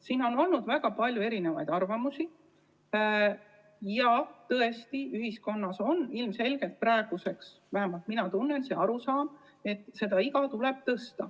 Siin on olnud väga palju erisuguseid arvamusi ja tõesti, ühiskonnas on praeguseks ilmselgelt, vähemalt mina tunnen nii, kujunenud arusaam, et seda eapiiri tuleb tõsta.